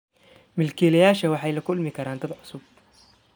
Milkiilayaasha waxay la kulmi karaan dad cusub.